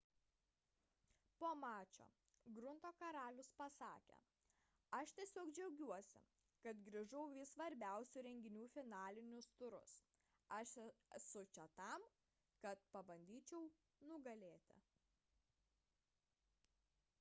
po mačo grunto karalius pasakė aš tiesiog džiaugiuosi kad grįžau į svarbiausių renginių finalinius turus aš esu čia tam kad pabandyčiau nugalėti